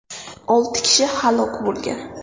Olti kishi halok bo‘lgan.